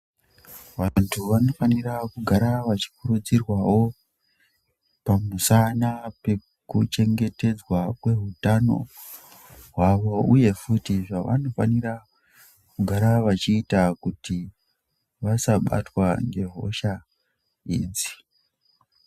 vantu vanofanira kugara vachikurudzirwavo pamusana pekuchengetedzwa kwehutano hwavo, uye futi zvavanofanira kugara vachiita kuti vasabatwa ngehosha idzi.